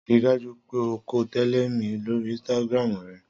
Rii daju pe o ko tẹle mi lori Instagram rẹ!